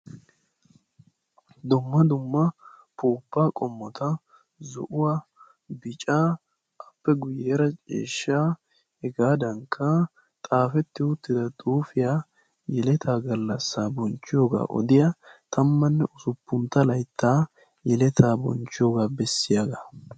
dumma dumma upuupaa qommota zo'uwa, bicaa, appe guyyeera ciishshaa, qa xaafetti uttida xuufiya, yeletaa gallassa bonchchiyoga odiya tammanne usuppuntta layittaa yeletaa bonchchiyoga bessiyaga.